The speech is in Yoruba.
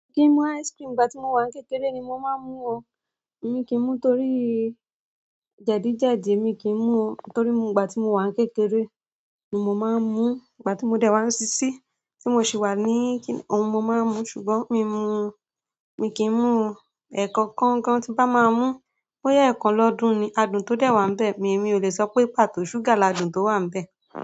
Mi kì í mú ice cream ìgbà tí mo wà kékeré ni mo máa ń mú ọ. Èmi kì í mú torí jẹ̀díjẹ̀dí, èmi kì í mú o torí ìgbà tí mo wà kékeré ni mo máa ń mú. Ìgbà tí mo dẹ̀ wá sísí tí mo sì wà ní kí-- ohun, mo máa ń mú. Ṣùgbọ́n mi mú, mi kì í mú o. Ẹ̀ẹ̀kọkan gan tí bá máa mú, bóya ẹ́ẹ̀kàn lọ́dún ni, àdùn tó dẹ̀ wà níbẹ̀. Èmi ò le sọ pé pàtó ṣúgà làdùn tó wà níbẹ̀.